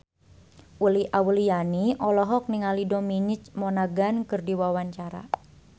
Uli Auliani olohok ningali Dominic Monaghan keur diwawancara